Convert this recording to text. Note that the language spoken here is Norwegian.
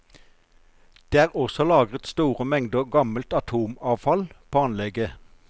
Det er også lagret store mengder gammelt atomavfall på anlegget.